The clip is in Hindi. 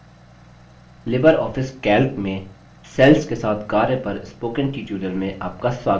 लिबर ऑफिस calc में cells के साथ कार्य पर spoken tutorial में आपका स्वागत है